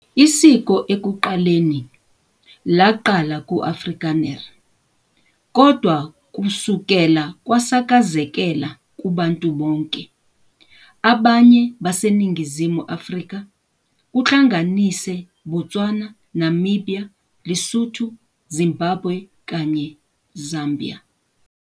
Isiko ekuqaleni waqala Afrikaners, kodvwa kusukela kwasakazekela kubantu bonke abanye baseNingizimu Afrika, kuhlanganise Botswana, Namibia, Lesotho, Zimbabwe kanye Zambia.